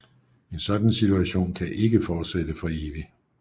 En sådan situation kan ikke fortsætte for evigt